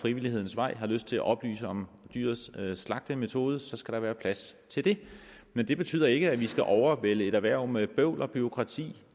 frivillighedens vej har lyst til at oplyse om dyrets slagtemetode skal der være plads til det men det betyder ikke at vi skal overvælde et erhverv med bøvl og bureaukrati